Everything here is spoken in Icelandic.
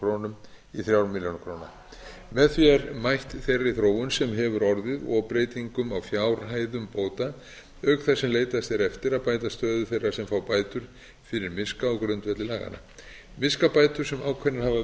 krónur í þremur milljónum komið því er mætt þeirri þróun sem hefur orðið og breytingum á fjárhæðum bóta auk þess sem leitast er eftir að bæta stöðu þeirra sem fá bætur fyrir miska á grundvelli laganna miskabætur sem ákveðnar hafa